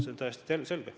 See on täiesti selge.